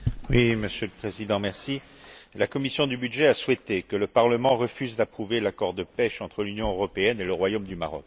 Monsieur le Président, la commission des budgets a souhaité que le Parlement refuse d'approuver l'accord de pêche entre l'Union européenne et le Royaume du Maroc.